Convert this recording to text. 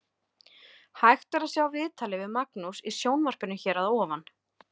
Hægt er að sjá viðtalið við Magnús í sjónvarpinu hér að ofan.